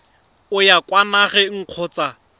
o ya kwa nageng kgotsa